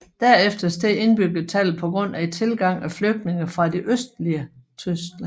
Derefter steg indbyggertallet på grund af tilgang af flygtninge fra det østlige Tyskland